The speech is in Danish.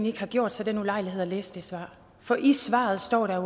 ikke har gjort sig den ulejlighed at læse det svar for i svaret står der